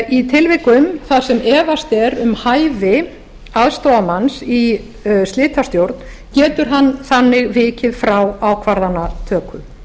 í tilvikum þar sem efast er um hæfi aðstoðarmanns í slitastjórn getur hann þannig vikið frá ákvarðanatöku